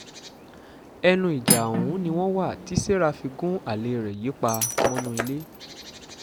ẹnu ìjà ọ̀hún ni wọ́n wà tí sarah fi gun alẹ́ rẹ̀ yìí pa mọ́nú ilé